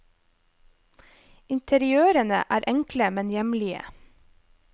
Interiørene er enkle, men hjemlige.